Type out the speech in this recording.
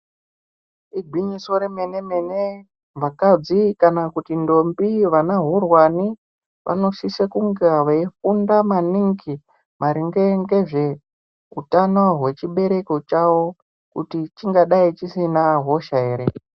Igwinyiso remene mene vakadzi kana kuti ndombi vana horwani vanosisa kunga veifunda maningi maringe ngezve utano wechebereko chawo kuti chinga dai chisina hosha ere